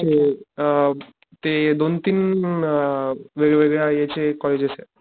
म्हणजे अ ते दोन तीन अ वेगवेगळ्या याचे कॉलेजेसेत.